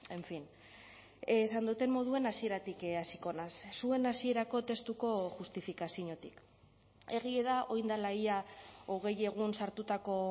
en fin esan dudan moduan hasieratik hasiko naiz zuen hasierako testuko justifikaziotik egia da orain dela ia hogei egun sartutako